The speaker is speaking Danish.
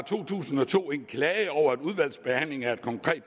to tusind og to en klage over et udvalgs behandling af et konkret